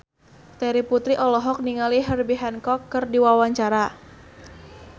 Terry Putri olohok ningali Herbie Hancock keur diwawancara